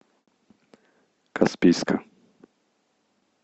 каспийска